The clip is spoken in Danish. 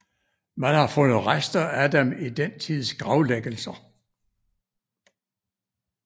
Man har fundet rester af dem i den tids gravlæggelser